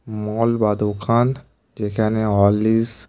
মল বা দোকান যেখানে হরলিক্স--